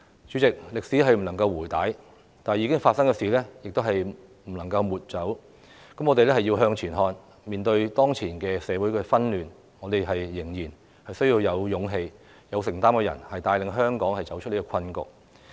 主席，歷史不能回帶，已發生的事情亦不能抹走，我們要向前看，面對當前社會的紛亂，我們仍然需要有勇氣、有承擔的人，帶領香港走出困局。